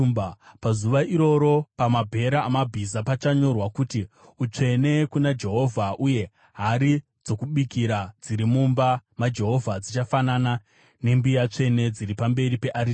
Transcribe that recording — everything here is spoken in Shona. Pazuva iroro pamabhero amabhiza pachanyorwa kuti, utsvene kuna jehovha , uye hari dzokubikira dziri mumba maJehovha dzichafanana nembiya tsvene dziri pamberi pearitari.